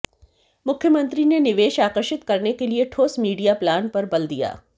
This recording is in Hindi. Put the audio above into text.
मुख्यमंत्री ने निवेश आकर्षित करने के लिए ठोस मीडिया प्लान पर बल दिया